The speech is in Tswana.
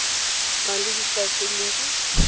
nang le dispice tse dintsi